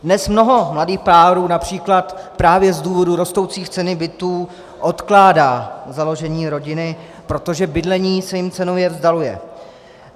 Dnes mnoho mladých párů například právě z důvodu rostoucí ceny bytů odkládá založení rodiny, protože bydlení se jim cenově vzdaluje.